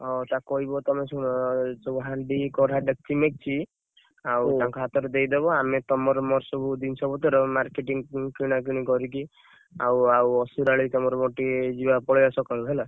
ଓହୋ! ତାକୁ କହିବ, ତମେ ଶୁଣ ସବୁ ହାଣ୍ଡି କଢେଇ ଦେକ୍‌ଚି ମେକ୍‌ଚି ଆଉ ତାଙ୍କ ହାତରେ ଦେଇଦବ, ଆମେ ତମର ମୋର ସବୁ ଜିନିଷ ପତ୍ର marketing କିଣା କିଣି କରିକି ଆଉ ଆଉ ଅସୁରାଳି ତମର ମୋର ଟିକେ ଯିବା ପଳେଇବା ସକାଳୁ ହେଲା।